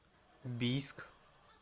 бийск